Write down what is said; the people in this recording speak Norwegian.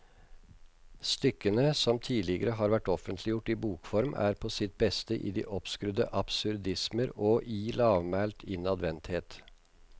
Stykkene, som ikke tidligere har vært offentliggjort i bokform, er på sitt beste i de oppskrudde absurdismer og i lavmælt innadvendthet.